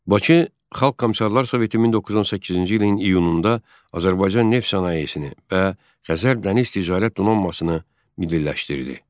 Bakı Xalq Komissarlar Soveti 1918-ci ilin iyununda Azərbaycan neft sənayesini və Xəzər Dəniz Ticarət Donanmasını milliləşdirdi.